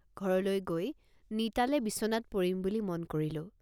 ঘৰলৈ গৈ নিটালে বিছনাত পৰিম বুলি মন কৰিলোঁ।